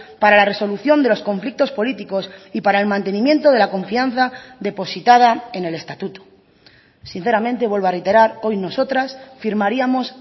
para la resolución de los conflictos políticos y para el mantenimiento de la confianza depositada en el estatuto sinceramente vuelvo a reiterar hoy nosotras firmaríamos